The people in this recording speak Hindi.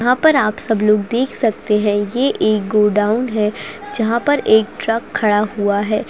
यहाँ पर आप सब लोग देख सकते हैं ये एक गोडाउन है जहाँ पर एक ट्रक खड़ा हुआ है।